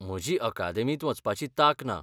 म्हजी अकादेमींत वचपाची तांक ना.